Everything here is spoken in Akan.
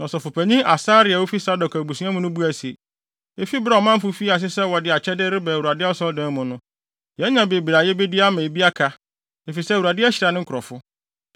Na ɔsɔfopanyin Asaria a ofi Sadok abusua mu buae se, “Efi bere a ɔmanfo fii ase sɛ wɔde akyɛde reba Awurade Asɔredan mu no, yɛanya bebree a yebedi ama bi aka, efisɛ Awurade ahyira ne nkurɔfo.”